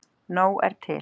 Nóg er til!